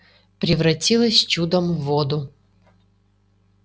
превратилась чудом в воду